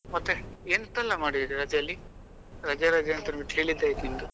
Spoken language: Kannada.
ಮತ್ತೆ ಎಂತ ಎಲ್ಲಾ ಮಾಡಿದ್ರಿ ರಜೆಯಲ್ಲಿ ರಜೆ ರಜೆ ಅಂತ ಅಂತ ಅಂದ್ಬಿಟ್ಟು ಹೇಳಿದ್ದೆ ಆಯ್ತು ನಿಮ್ದು?